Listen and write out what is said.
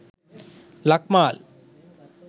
lakmal